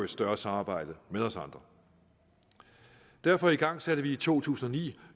større samarbejde med os andre derfor igangsætte vi i to tusind og ni